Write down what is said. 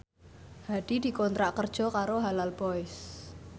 Hadi dikontrak kerja karo Halal Boys